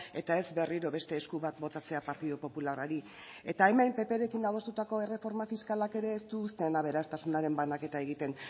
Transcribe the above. eta ez berriro beste esku bat botatzea partidu popularrari eta hemen pprekin adostutako erreforma fiskalak ere ez du uzten aberastasunaren banaketa egiten